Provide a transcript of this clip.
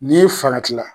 N'i farati la